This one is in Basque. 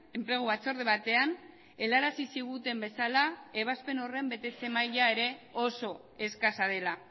enplegu batzorde batean helarazi ziguten bezala ebazpen horren betetze maila ere oso eskasa dela